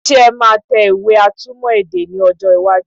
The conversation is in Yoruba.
Ṣé ẹ máa tẹ ìwé atúmọ̀ èdè ní ọjọ́ iwájú?